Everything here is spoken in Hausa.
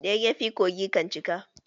Da yayyafi kogi kan cika